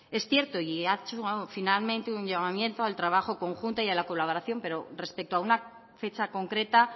es cierto y ha hecho finalmente un llamamiento al trabajo conjunto y a la colaboración pero respecto a una fecha concreta